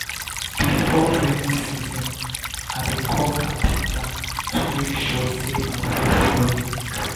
before rainy season i dey call carpenter to make sure sey my roof no dey leak.